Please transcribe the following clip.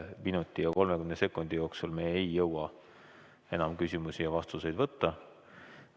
Selle minuti ja 30 sekundi jooksul me ei jõua enam küsimusi ja vastuseid võtta.